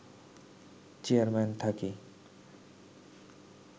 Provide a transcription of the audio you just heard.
chairman থাকি